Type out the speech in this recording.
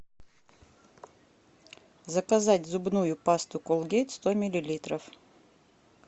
заказать зубную пасту колгейт сто миллилитров